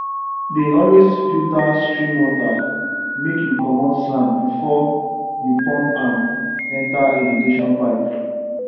dey always filter stream water make you comot sand before you pump am enter irrigation pipe